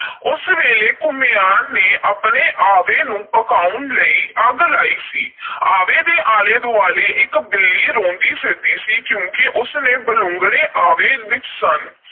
ਉਸ ਵੇਲੇ ਘੁਮਿਆਰ ਨੇ ਆਪਣੇ ਆਵੇ ਨੂੰ ਪਕਾਉਣ ਲਈ ਅੱਗ ਲਾਈ ਸੀ। ਆਵੇ ਦੇ ਆਲੇ – ਦੁਆਲੇ ਇਕ ਬਿੱਲੀ ਰੋਂਦੀ ਫਿਰਦੀ ਸੀ ਕਿਉਂਕਿ ਉਸ ਦੇ ਬਲੂੰਗੜੇ ਆਵੇ ਵਿਚ ਸਨ।